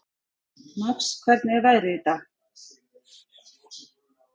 Max, hvernig er veðrið í dag?